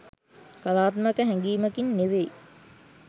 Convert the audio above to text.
කලාත්මක හැඟීමකින් නෙවෙයි.